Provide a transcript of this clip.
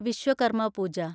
Vishwakarma പൂജ